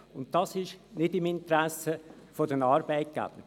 Das liegt nicht im Interesse der Arbeitgeber.